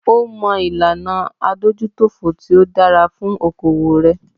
Ó mọ ìlànà adójútòfò tí o dára fún okoòwò rẹ.